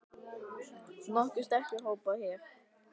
Nokkuð sterkur hópur hérna.